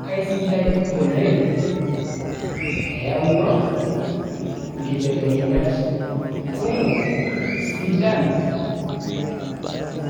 kaisidai oleng eyawua inkibelekenyat kumok sidan